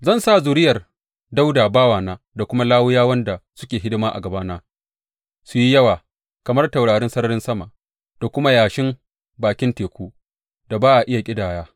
Zan sa zuriyar Dawuda bawana da kuma Lawiyawan da suke hidima a gabana su yi yawa kamar taurarin sararin sama da kuma yashin bakin tekun da ba a iya ƙidaya.’